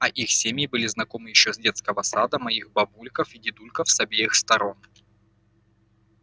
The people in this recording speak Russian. а их семьи были знакомы ещё с детского сада моих бабульков и дедульков с обеих сторон